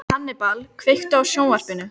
Hannibal, kveiktu á sjónvarpinu.